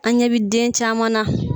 An ɲɛ bi den caman na.